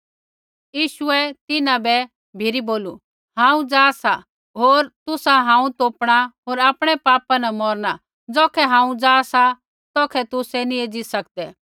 यीशुऐ तिन्हां बै भी बोलू हांऊँ जा सा होर तुसा हांऊँ तोपणा होर आपणै पापा न मौरणा ज़ौखै हांऊँ जा सा तौखै तुसै नी एज़ी सकदै